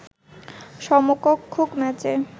সমসংখ্যক ম্যাচে